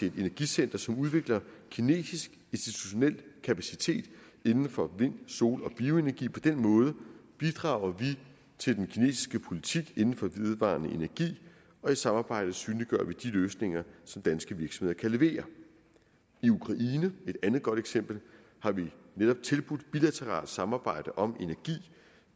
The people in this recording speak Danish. et energicenter som udvikler kinesisk institutionel kapacitet inden for vind sol og bioenergi på den måde bidrager vi til den kinesiske politik inden for vedvarende energi og i samarbejdet synliggør vi de løsninger som danske virksomheder kan levere i ukraine et andet godt eksempel har vi netop tilbudt bilateralt samarbejde om energi